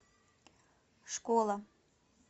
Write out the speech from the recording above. школа